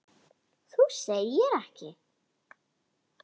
Þú segir ekki.